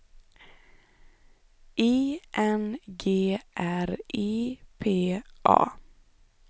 I N G R I P A